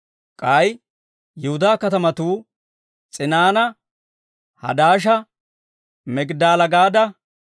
K'ay Yihudaa katamatuu S'inaana, Hadaasha, Migidaala-Gaada,